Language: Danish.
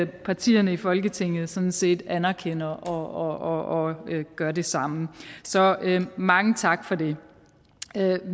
partierne i folketinget sådan set anerkender og gør det samme så mange tak for det